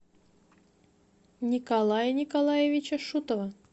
николая николаевича шутова